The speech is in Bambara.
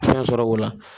Fɛn sɔrɔ o la